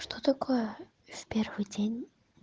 что такое в первый день